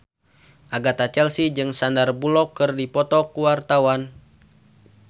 Agatha Chelsea jeung Sandar Bullock keur dipoto ku wartawan